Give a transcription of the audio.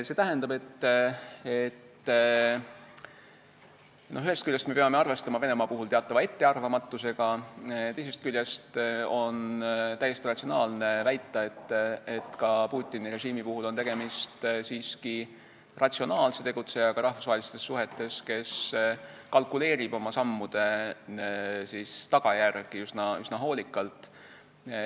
See tähendab, et ühest küljest me peame arvestama Venemaa teatava ettearvamatusega, teisest küljest on täiesti ratsionaalne väita, et ka Putini režiim on siiski ratsionaalne tegutseja rahvusvahelistes suhetes, kes kalkuleerib oma sammude tagajärgi üsna hoolikalt.